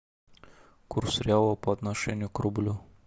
курс реала по отношению к рублю